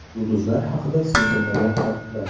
Yulduzlar haqida siz bilmagan faktlar.